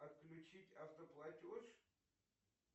отключить автоплатеж